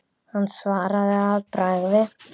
Hann svaraði að bragði.